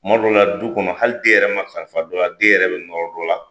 Kuma dɔw la du kɔnɔ hali den yɛrɛ ma kalifa dɔ la den yɛrɛ be nɔrɔ dɔ la.